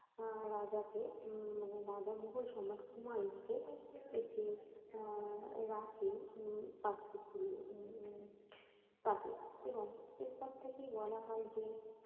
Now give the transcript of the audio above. অ্যাঁ রাজাকে উম মানে রাজা নিজেই সম্রাট হুমায়ুনকে একটি আহ রাখি উম পাঠিয়েছিলেন। উম তাকে এবং এর পর থেকে বলা হয় যে